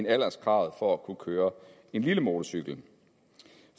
er alderskravet for at kunne køre lille motorcykel